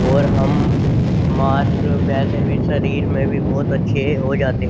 और हम मास वैसे भी शरीर में भी बहुत अच्छे हो जाते हैं।